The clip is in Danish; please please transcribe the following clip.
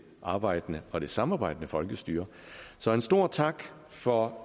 arbejdende og samarbejdende folkestyre så en stor tak for